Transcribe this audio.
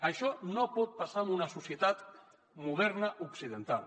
això no pot passar en una societat moderna occidental